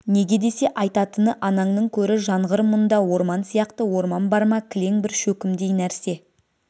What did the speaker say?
неге десе айтатыны анаңның көрі жанғыр мұнда орман сияқты орман бар ма кілең бір шөкімдей нәрсе